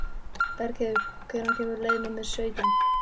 Bergheiður, hvenær kemur leið númer sautján?